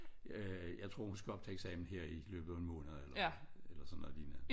Øh jeg tror hun skal op til eksamen her i løbet af en måned eller eller sådan noget lignende